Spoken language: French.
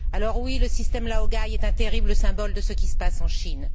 Alors, oui, le système laogai est un terrible symbole de ce qui se passe en Chine.